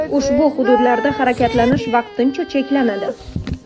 Ushbu hududlarda harakatlanish vaqticha cheklanadi.